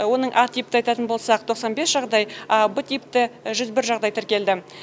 оның а типті айтатын болсақ тоқсан бес жағдай б типті жүз бір жағдай тіркелді